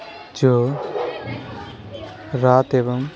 जो रात एवं --